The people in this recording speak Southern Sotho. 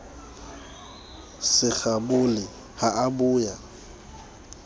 se kgabole ha a boya